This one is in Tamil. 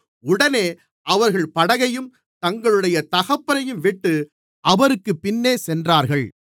உடனே அவர்கள் படகையும் தங்களுடைய தகப்பனையும்விட்டு அவருக்குப் பின்னே சென்றார்கள்